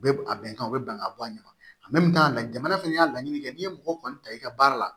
U bɛ a bɛnkan u bɛ bɛn ka bɔ a ɲɛ ma jamana fana y'a laɲini kɛ n'i ye mɔgɔ kɔni ta i ka baara la